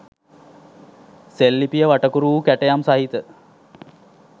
සෙල්ලිපිය වටකුරු වූ කැටයම් සහිත